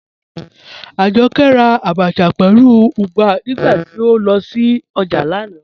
Ajọkẹ́ rà àbàchà pẹ̀lú ùgbà nígbàtí o lọ sí ojá lánà.